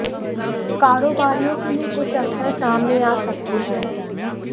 कारोबारियों के लिए कुछ अवसर सामने आ सकते हैं